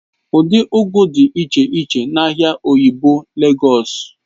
Ụdị ugu dị iche iche dị n'ahịa oyingbo Legọs